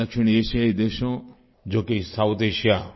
दक्षिण एशियाई देशों जो कि साउथ As